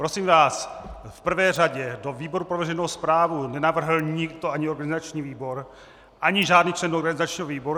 Prosím vás, v prvé řadě do výboru pro veřejnou správu nenavrhl nikdo, ani organizační výbor, ani žádný člen organizačního výboru.